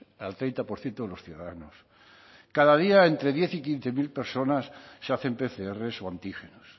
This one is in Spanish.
al treinta por ciento de los ciudadanos cada día entre diez y quince mil personas se hacen pcr o antígenos